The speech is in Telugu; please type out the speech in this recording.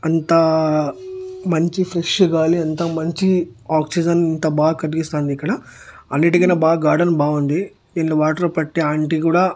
అంతా మంచి ఫ్రెష్ గాలి అంతా మంచి ఆక్సిజన్ అంతా బా కన్పిస్తాంది ఇక్కడ అన్నిటికన్నా బాగ్ గార్డెన్ బావుంది దీంట్లో వాటర్ పట్టే ఆంటీ కూడా--